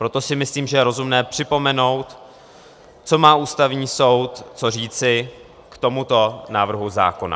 Proto si myslím, že je rozumné připomenout, co má Ústavní soud co říci k tomuto návrhu zákona.